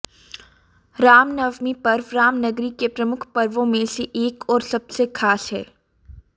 रामनवमी पर्व रामनगरी के प्रमुख पर्वों मे से एक और सबसे खास है